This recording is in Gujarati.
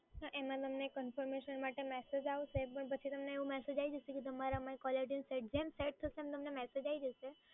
એમાં તમને confirmation માટે મેસેજ આવશે but પછી તમને એવો મેસેજ આઈ જશે કે તમારે કોલરટયુન સેટ, જેમ સેટ થશે એમ તમને મેસેજ આઈ જશે